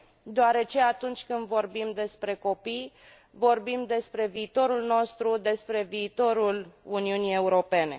deoarece atunci când vorbium despre copii, vorbim despre viitorul nostru, despre viitorul Uniunii Europene.